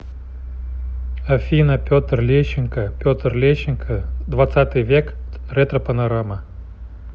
афина петр лещенко петр лещенко двадцатый век ретропанорама